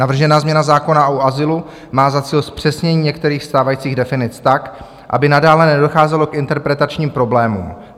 Navržená změna zákona o azylu má za cíl zpřesnění některých stávajících definic tak, aby nadále nedocházelo k interpretačním problémům.